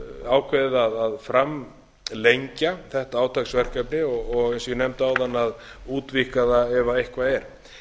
ákveðið að framlengja þetta átaksverkefni og eins og ég nefndi áðan að útvíkka það ef eitthvað er